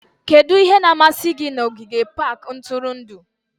Kedu ihe na-amasị gị na ogige pak ntụrụndụ?